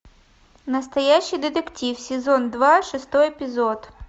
настоящий детектив сезон два шестой эпизод